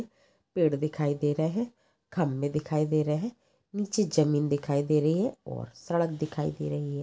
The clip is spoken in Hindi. पेड़ दिखाई दे रहे खंबे दिखाई दे रहे नीचे जमीन दिखाई दे रही है और सड़क दिखाई दे रही है।